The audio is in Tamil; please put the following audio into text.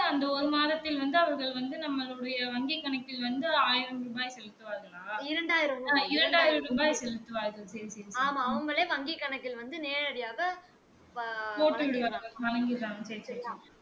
அந்த ஒரு மாதத்தில் வந்து அவர்கள் வந்து நம்மலுடைய வங்கி கணக்கில் வந்து ஆயிரம் ரூபாய் செலுத்துவார்களா இரண்டாயிரம் ரூபாய் செலுத்துவார்கள் சரி சரி சரி போட்டு விடுவார்கள் வழங்கிர்றாங்க சேரி சேரி